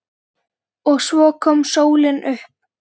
OG SVO KOM SÓLIN UPP.